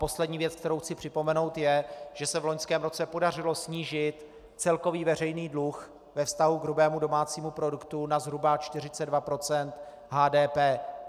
Poslední věc, kterou chci připomenout, je, že se v loňském roce podařilo snížit celkový veřejný dluh ve vztahu k hrubému domácímu produktu na zhruba 42 % HDP.